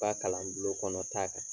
U ka kalan bulon kɔnɔ ta kan.